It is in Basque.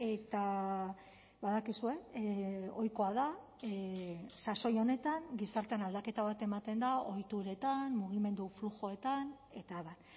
eta badakizue ohikoa da sasoi honetan gizartean aldaketa bat ematen da ohituretan mugimendu flujoetan eta abar